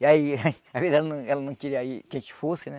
E aí, às vezes, ela não ela não queria aí que a gente fosse, né?